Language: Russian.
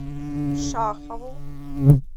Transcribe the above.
шахову